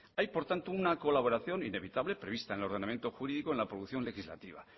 hay por tanto una colaboración inevitable prevista en el ordenamiento jurídico en la producción legislativa